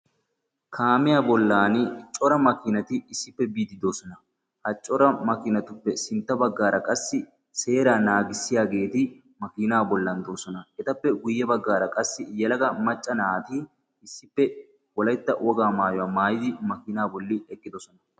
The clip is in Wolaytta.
Kaamiya bollan cora makinaati issippe biide doosona. Ha coea makimatuppe sintta baggan qassi seera naagissiyageeti makina bollan doosona. Etappe guyye baggaara qassi yelagaa macca naati issippe. wolaytya wogaa maatyuwa maayyidi makina bolli eqqidoosona.